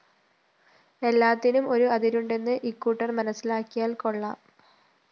എല്ലാത്തിനും ഒരു അതിരുണ്ടെന്ന് ഇക്കൂട്ടര്‍ മനസ്സിലാക്കിയാല്‍ കൊള്ളാം